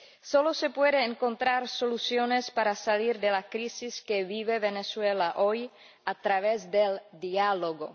Solo se pueden encontrar soluciones para salir de la crisis que vive Venezuela hoy a través del diálogo.